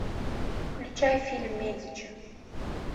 включай фильм медичи